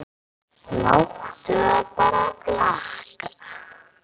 Láttu það bara flakka!